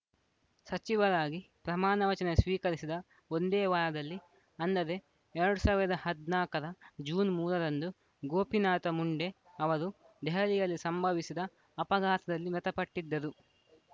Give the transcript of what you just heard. ಸಚಿವರಾಗಿ ಪ್ರಮಾಣವಚನ ಸ್ವೀಕರಿಸಿದ ಒಂದೇ ವಾರದಲ್ಲಿ ಅಂದರೆ ಎರಡ್ ಸಾವಿರದ ಹದ್ನಾಕರ ಜೂನ್ ಮೂರರಂದು ಗೋಪಿನಾಥ ಮುಂಡೆ ಅವರು ದೆಹಲಿಯಲ್ಲಿ ಸಂಭವಿಸಿದ ಅಪಘಾತದಲ್ಲಿ ಮೃತಪಟ್ಟಿದ್ದರು